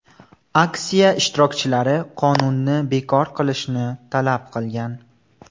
Aksiya ishtirokchilari qonunni bekor qilishni talab qilgan.